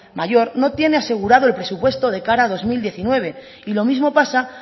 mayor no tiene asegurado el presupuesto de cara a dos mil diecinueve y lo mismo pasa